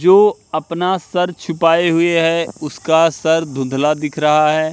जो अपना सर छुपाए हुए हैं उसका सर धुंधला दिख रहा हैं।